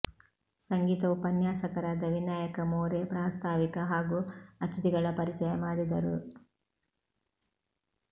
ಸಂಗೀತ ಉಪನ್ಯಾಸಕರಾದ ವಿನಾಯಕ ಮೋರೆ ಪ್ರಾಸ್ತಾವಿಕ ಹಾಗೂ ಅತಿಥಿಗಳ ಪರಿಚಯ ಮಾಡಿದರು